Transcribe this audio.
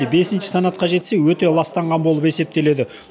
бесінші санатқа жетсе өте ластанған болып есептеледі